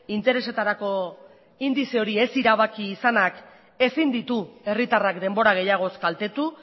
interesetarako indize hori ez erabaki izanak ezin ditu herritarrak denbora gehiagoz kaltetu